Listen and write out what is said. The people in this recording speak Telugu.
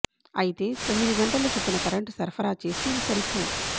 అయితే తొమ్మిది గంటల చొప్పున కరెంటు సరఫరా చేస్తే ఇవి సరిపోవు